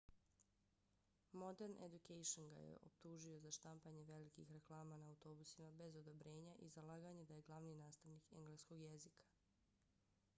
modern education ga je optužio za štampanje velikih reklama na autobusima bez odobrenja i za laganje da je glavni nastavnik engleskog jezika